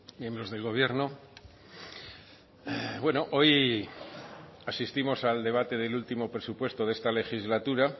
miembros del gobierno bueno hoy asistimos al debate del último presupuesto de esta legislatura